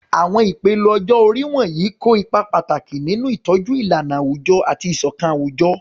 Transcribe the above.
Àwọn ìpele ọjọ́ orí wọ̀nyí kó ipa pàtàkì nínú ìtọ́jú ìlànà àwùjọ àti ìṣọ̀kan àwùjọ.